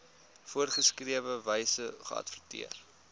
voorgeskrewe wyse geadverteer